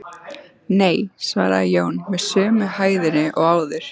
Nei, svaraði Jón með sömu hægðinni og áður.